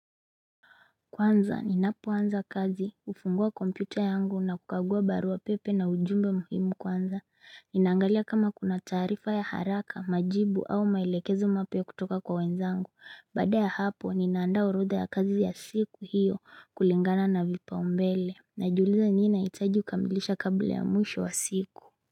Kwanza, ninapoanza kazi, kufungua kompyuta yangu na kukagua baru pepe na ujumbe muhimu kwanza, ninangalia kama kuna taarifa ya haraka, majibu au maelekezo mapya kutoka kwa wenzangu, baada ya hapo, ninaanda urodha ya kazi ya siku hiyo kulingana na vipa umbele, najiuliza nini nahitaji kukamilisha kabla ya mwisho wa siku.